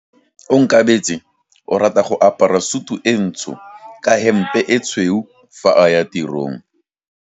Onkabetse o rata go apara sutu e ntsho ka hempe e tshweu fa a ya tirong.